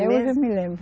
Eu me lembro.